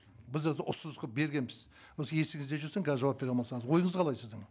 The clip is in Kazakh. біз ұсыныс қылып бергенбіз осы есіңізде жүрсін қазір жауап бере алмасаңыз ойыңыз қалай сіздің